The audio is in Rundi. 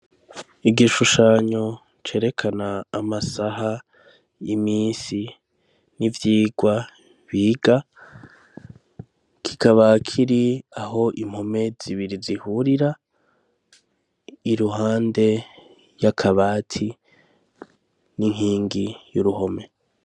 Igishushanyo cerekana amasaha, iminsi n'ivyigwa biga kikaba kiri aho impome zibiri zihurira iruhande yakabati n'inkingi yuruhome.